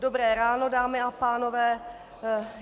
Dobré ráno, dámy a pánové.